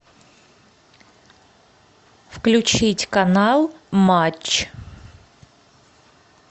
включить канал матч